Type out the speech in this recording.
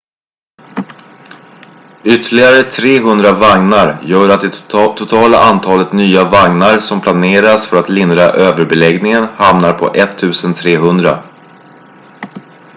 ytterligare 300 vagnar gör att det totala antalet nya vagnar som planeras för att lindra överbeläggningen hamnar på 1300